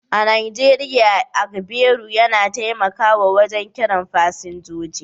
A Najeriya, agbero na taimakawa wajen kiran fasinjoji